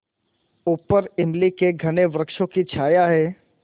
ऊपर इमली के घने वृक्षों की छाया है